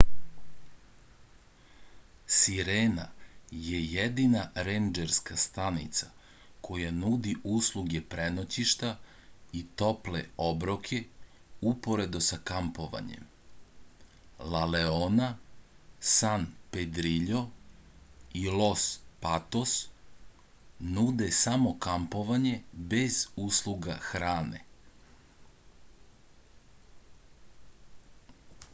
sirena je jedina rendžerska stanica koja nudi usluge prenoćišta i tople obroke uporedo sa kampovanjem la leona san pedriljo i los patos nude samo kampovanje bez usluga hrane